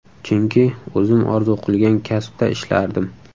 Chunki o‘zim orzu qilgan kasbda ishlardim.